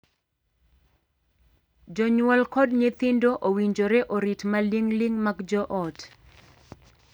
Jonyuol kod nyithindo owinjore orit maling'ling mag joot.